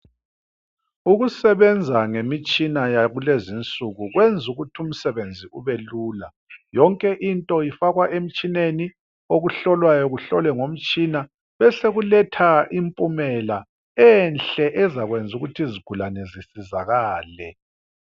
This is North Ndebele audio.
Ukusebenza ngemitshina yakulenzinsuku kwenzukuthi umsebenzi ubelula yonke into ifakwa emtshineni okuhlolwayo kuhlolwe ngomtshina besokuletha impumela enhle ezakwenza ukuthi izigulane zisizakale.